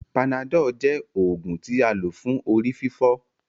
Panadol jẹ oògùn tí a lò fún orí-fífọ́